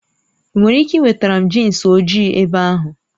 Ị nwere ike wetara m jinsi ojii ebe ahụ?